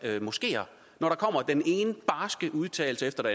moskeer når der kommer den ene barske udtalelse efter